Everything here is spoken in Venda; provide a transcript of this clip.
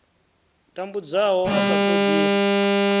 tambudzwaho a sa ṱo ḓi